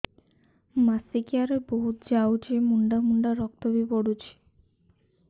ମାସିକିଆ ରେ ବହୁତ ଯାଉଛି ମୁଣ୍ଡା ମୁଣ୍ଡା ରକ୍ତ ବି ପଡୁଛି